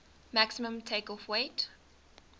maximum takeoff weight